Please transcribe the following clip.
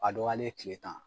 A dɔgɔyalen tile tan